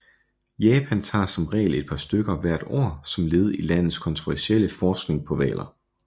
Japan tager som regel et par stykker hvert år som led i landets kontroversielle forskning på hvaler